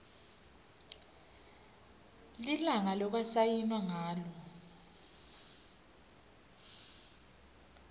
lilanga lekwasayinwa ngalo